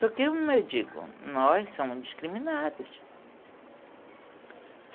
Porque, como eu digo, nós somos discriminados.